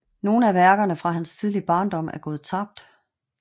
Nogle af værkerne fra hans tidlige barndom er gået tabt